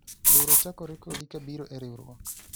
luro chakore kodi kabiro e riwruok